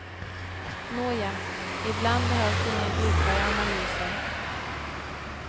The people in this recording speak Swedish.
Nåja, ibland behövs inga djupare analyser.